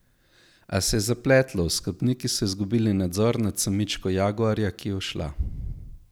A se je zapletlo, oskrbniki so izgubili nadzor nad samičko jaguarja, ki je ušla.